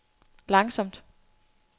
langsomt